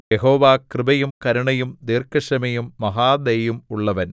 യഹോവ കൃപയും കരുണയും ദീർഘക്ഷമയും മഹാദയയും ഉള്ളവൻ